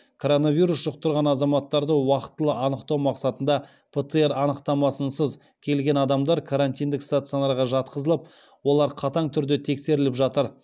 коронавирус жұқтырған азаматтарды уақтылы анықтау мақсатында птр анықтамасынсыз келген адамдар карантиндік стационарға жатқызылып олар қатаң түрде тексеріліп жатыр